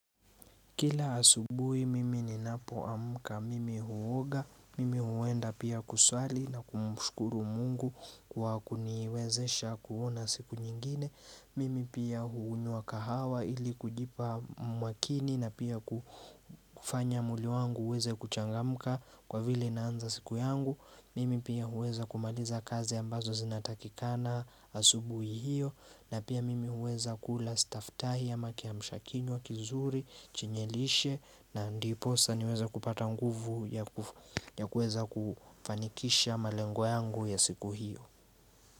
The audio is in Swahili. Kila asubui mimi ninapo amka mimi huoga, mimi huenda pia kuswali na kumshkuru Mungu kwa kuniwezesha kuona siku nyengine Mimi pia hunywa kahawa ili kujipa makini na pia kufanya mwili wangu uweze kuchangamka kwa vile naanza siku yangu mimi pia huweza kumaliza kazi ambazo zinatakikana asubui hiyo na pia mimi uweza kula staftahi ama kiamsha kinywa kizuri chinye lishe na ndiposa niweze kupata nguvu ya kufanikisha malengo yangu ya siku hiyo.